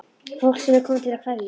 Fólk sem er komið til að kveðja.